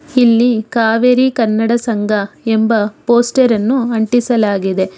ಇಲ್ಲಿ ಕಾವೇರಿ ಕನ್ನಡ ಸಂಘ ಎಂಬ ಪೋಸ್ಟರ್ ಅನ್ನು ಅಂಟಿಸಲಾಗಿದೆ.